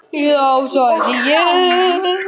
Þá segði ég: